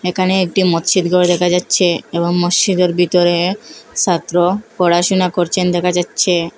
এখানে একটি মতসিদ গৃহ দেখা যাচ্ছে এবং মসচিদের ভিতরে সাত্র পড়াশোনা করছেন দেখা যাচ্ছে।